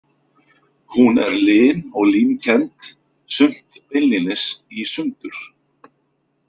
Hún er lin og límkennd, sumt beinlínis í sundur.